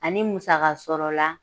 Ani musaka sɔrɔ la